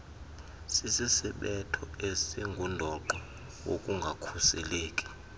sisisibetho esingundoqo wokungakhuseleki